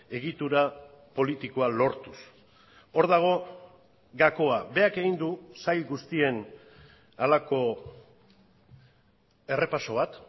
egitura politikoa lortuz hor dago gakoa berak egin du sail guztien halako errepaso bat